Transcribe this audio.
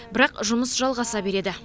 бірақ жұмыс жалғаса береді